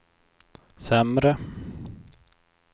sämre